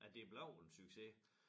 At det blev en succes